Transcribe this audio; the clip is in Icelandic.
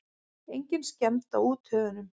Engin skemmd á úthöfunum.